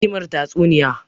Me ne ne hikimar tatsuniya